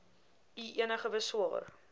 u enige beswaar